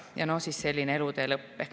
Ja no siis selline elutee lõpp.